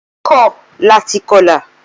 Ola kọ lati kọla.